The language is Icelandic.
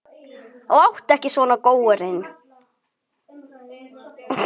Láttu ekki svona, góurinn